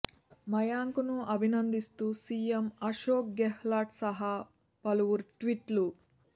మయాంక్ ను అభినందిస్తూ సీఎం అశోక్ గెహ్లాట్ సహా పలువురు ట్వీట్లు